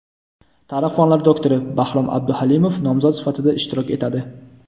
tarix fanlari doktori Bahrom Abduhalimov nomzod sifatida ishtirok etadi.